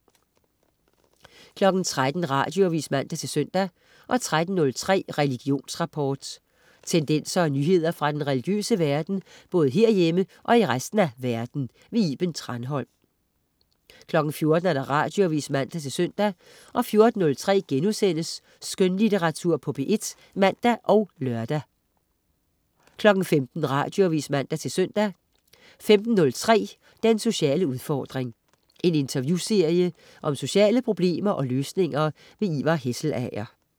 13.00 Radioavis (man-søn) 13.03 Religionsrapport. Tendenser og nyheder fra den religiøse verden, både herhjemme og i resten af verden. Iben Thranholm 14.00 Radioavis (man-søn) 14.03 Skønlitteratur på P1* (man og lør) 15.00 Radioavis (man-søn) 15.03 Den sociale udfordring. En interviewserie om sociale problemer og løsninger. Ivar Hesselager